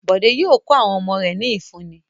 Bọ̀dé yóò kọ́ àwọn ọmọ rẹ̀ ní ìfúnni.